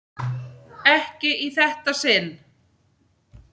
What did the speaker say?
Var hún ekki ein?